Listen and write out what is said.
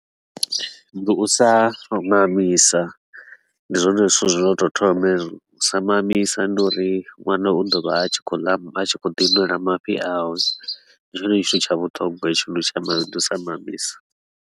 Ndi u sa mu mamisa ndi zwone zwithu zwo no tou thoma hezwo, u sa mamisa ndi uri ṅwana u ḓo vha a tshi khou ḽa a tshi khou ḓi nwela mafhi awe. Ndi tshone tshithu tsha vhuṱhogwa hetsho, ndi u sa ndi u sa mamisa.